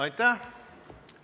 Aitäh!